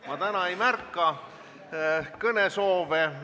Ma täna ei märka kõnesoove.